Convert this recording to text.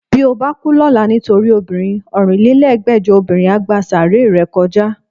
Bí o bá kú lọ́la nítorí obìnrin, ọ̀rinlélẹ́gbẹ́jọ obìnrin á gba sàáárè rẹ kọjá